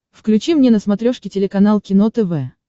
включи мне на смотрешке телеканал кино тв